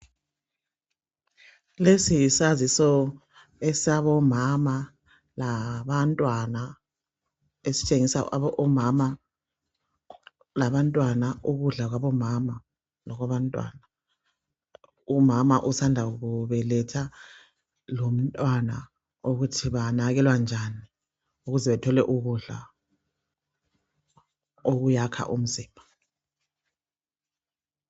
Lesi yisaziso esabomama labantwana, esithengisa omama labantwana ukudla kwabomama lokwabantwana. Umama osanda kubeletha lomntwana okuthi banakekelwa njani ukuze bethole ukudla okuyakha umzimba.